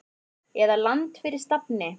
eða Land fyrir stafni!